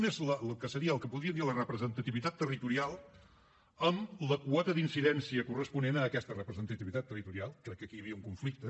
un és el que seria el que en podríem dir la representativitat territorial amb la quota d’incidència corresponent a aquesta representativitat territorial crec que aquí hi havia un conflicte